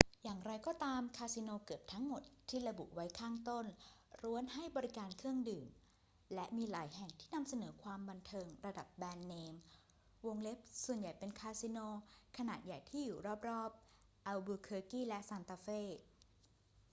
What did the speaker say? อย่างไรก็ตาม คาสิโนเกือบทั้งหมดที่ระบุไว้ข้างต้นล้วนให้บริการเครื่องดื่ม และมีหลายแห่งที่นำเสนอความบันเทิงระดับแบรนด์เนม ส่วนใหญ่เป็นคาสิโนขนาดใหญ่ที่อยู่รอบ ๆ อัลบูเคอร์กีและซานตาเฟ